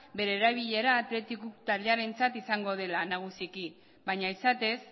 bere erabilera athletic club taldearentzat izango dela nagusiki baina izatez